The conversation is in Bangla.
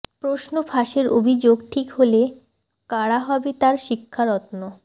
প্রশ্ন ফাঁসের অভিযোগ ঠিক হলে কাড়া হবে তাঁর শিক্ষারত্ন